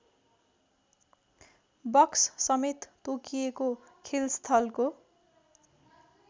बक्ससमेत तोकिएको खेलस्थलको